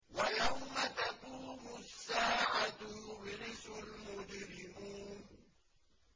وَيَوْمَ تَقُومُ السَّاعَةُ يُبْلِسُ الْمُجْرِمُونَ